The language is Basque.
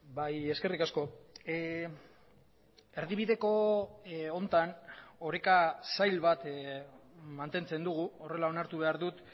bai eskerrik asko erdibideko honetan oreka zail bat mantentzen dugu horrela onartu behar dut